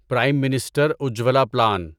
Prem minister Ujjwala plan